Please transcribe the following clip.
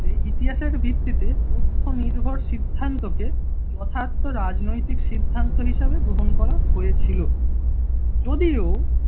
এই ইতিহাসের ভিত্তিতে প্রথম নির্ভর সিদ্ধান্তকে যথার্ত রাজনৈতিক সিদ্ধান্ত হিসেবে গ্রহণ করা হয়েছিল, যদিও